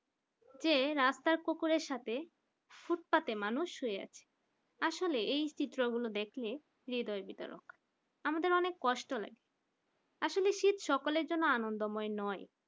যে রাস্তার কুকুরের সাথে ফুটপাতে মানুষ শুয়ে আছে আসলে এই চিত্রগুলো দেখলে হৃদয় বিতরণ করে আমাদের অনেক কষ্ট লাগে আসলে শীত সকলের জন্য আনন্দময় নয়।